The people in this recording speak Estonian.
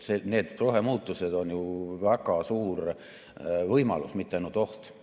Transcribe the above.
Need rohemuutused on ju väga suur võimalus, mitte ainult oht.